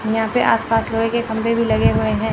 यहां पे आसपास लोहे के खंभे भी लगे हुए हैं।